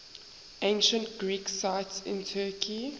ancient greek sites in turkey